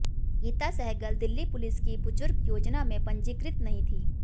Gita Sehgal Delhi police की बुजुर्ग योजना में पंजीकृत नहीं थीं